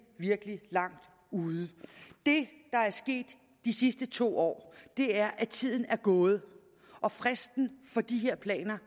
virkelig langt ude det der er sket de sidste to år er at tiden er gået og fristen for de her planer